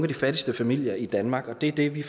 de fattigste familier i danmark det er det vi